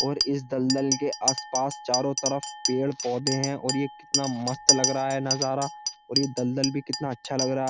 और इस दलदल के आस-पास चारों तरफ पेड़ पौधे है और ये कितना मस्त लग रहा है। नजारा और ऐ दलदल भी कितना अच्छा लग रहा --